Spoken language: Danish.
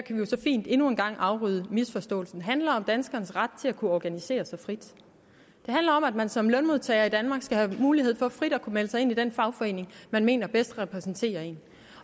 jo så fint endnu en gang rydde en misforståelse af vejen handler om danskernes ret til at kunne organisere sig frit det handler om at man som lønmodtager i danmark skal have mulighed for frit at kunne melde sig ind i den fagforening man mener bedst repræsenterer en